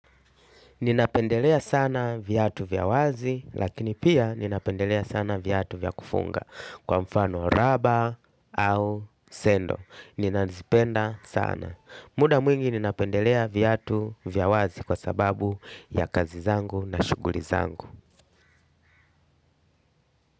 Ninapendelea sana viatu vya wazi lakini pia ninapendelea sana viatu vya kufunga kwa mfano raba au sendo. Ninazipenda sana. Muda mwingi ninapendelea viatu vya wazi kwa sababu ya kazi zangu na shughuli zangu.